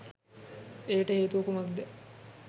එයට හේතුව කුමක්දැ